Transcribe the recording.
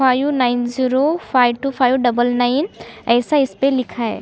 Five nine zero five two five double nine ऐसा इसपे लिखा है।